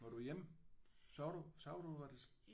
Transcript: Var du hjemme? Så du så du hvad der?